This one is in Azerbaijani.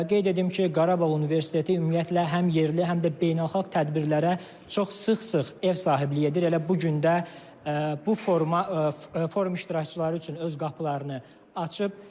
Qeyd edim ki, Qarabağ Universiteti ümumiyyətlə həm yerli, həm də beynəlxalq tədbirlərə çox sıx-sıx ev sahibliyi edir, elə bu gün də bu forma forum iştirakçıları üçün öz qapılarını açıb.